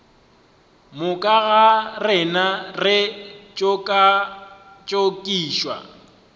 moka ga rena re tšokatšokišwa